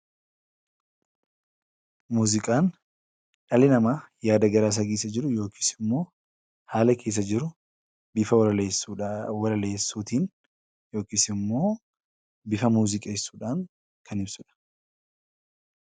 Muuziqaan dhala namaaf yaada keessa isaa ibsachuuf bifa walaleessuutiin yookiin bifa muuziqeessuudhaan kan ibsudha .